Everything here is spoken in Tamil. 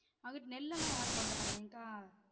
அங்குட்டு நெல் எல்லாம் யாரும் போட மாட்டாங்க ஏன் கா